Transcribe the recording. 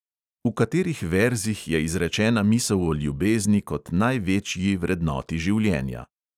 V katerih verzih je izrečena misel o ljubezni kot največji vrednoti življenja?